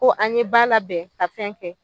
Ko an ye ba labɛn ka fɛn kɛ